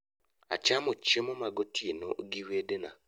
Achamo chiemo magotieno gi wedena